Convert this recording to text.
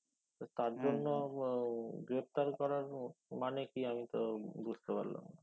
তার জন্য উহ greftar করার মানে কি আমি তো বুঝতে পারলাম না